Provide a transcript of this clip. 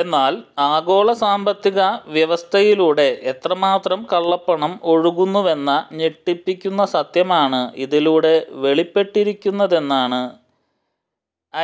എന്നാൽ ആഗോള സാമ്പത്തിക വ്യവസ്ഥയിലൂടെ എത്രമാത്രം കള്ളപ്പണം ഒഴുകുന്നുവെന്ന ഞെട്ടിപ്പിക്കുന്ന സത്യമാണ് ഇതിലൂടെ വെളിപ്പെട്ടിരിക്കുന്നതെന്നാണ്